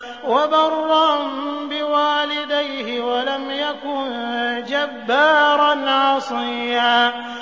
وَبَرًّا بِوَالِدَيْهِ وَلَمْ يَكُن جَبَّارًا عَصِيًّا